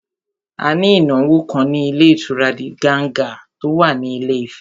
A ní ìnáwó kan ní ilé ìtura Diganga tó wà ní Ilé Ifẹ̀